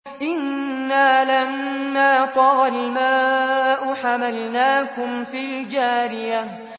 إِنَّا لَمَّا طَغَى الْمَاءُ حَمَلْنَاكُمْ فِي الْجَارِيَةِ